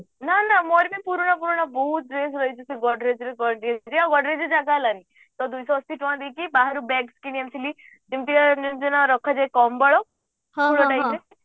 ନା ମୋର ବି ପୁରୁଣା ପୁରୁଣା ବହୁତ dress ରହିଛି ସେ ଗଗ୍ରେଜ ରେ ଗଡ ଗ୍ରେଜରେ ଆଉ ଗଡ୍ରେଜ ରେ ଜାଗା ହେଲାନି ତ ଦୁଇଶହ ଅସି ଟଙ୍କା ଦେଇକି ବାହାରୁ bag କିଣି ଆଣିଥିଲି ଯେମିତିକା ଜାଣିଛୁ ନା ରଖାଯାଏ କମ୍ବଳ